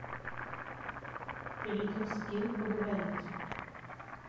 перейди в скилл по говорить